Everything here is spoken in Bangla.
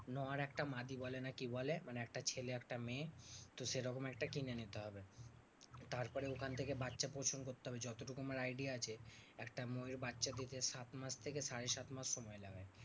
নর একটা মাদী না কি বলে? মানে একটা ছেলে একটা মেয়ে। তো সেরকম একটা কিনে নিতে হবে। তারপরে ওখান থেকে বাচ্চা প্রসব করতে হবে। যতটুকু আমার idea আছে একটা ময়ূর বাচ্চা দিতে সাত মাস থেকে সাড়ে সাত মাস সময় লাগায়।